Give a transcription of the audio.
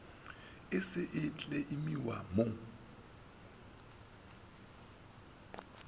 e se e kleimiwa mo